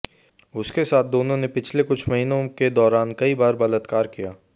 उसके साथ दोनों ने पिछले कुछ महीनों के दौरान कई बार बलात्कार किया है